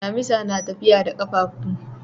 Dimisa na tafiya da kafafu.